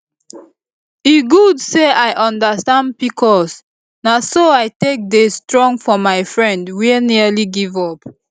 e good say i understand pcos na so i take dey strong for my friend wey nearly give up